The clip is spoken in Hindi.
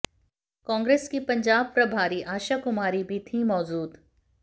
कांग्रेस की पंजाब प्रभारी आशा कुमारी भी थीं मौजूद